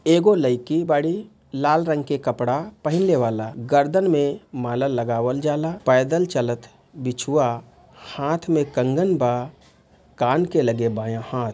एगो लयकी बाड़ी लाल रंग के कपड़ा पहिन ले वाला गर्दन में माला लगावल जाला पैदल चलत बिछुवा हाथ में कंगन बा कान के लगे बायां हाथ।